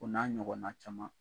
O n'a ɲɔgɔnna caman